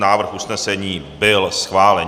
Návrh usnesení byl schválen.